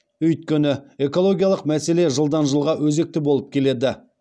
өйткені экологиялық мәселе жылдан жылға өзекті болып келеді